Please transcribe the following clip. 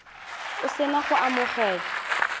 o se na go amogela